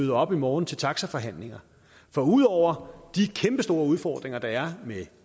møder op i morgen til taxaforhandlingerne for ud over de kæmpestore udfordringer der er med